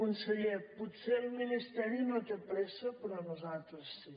conseller potser el ministeri no té pressa però nosaltres sí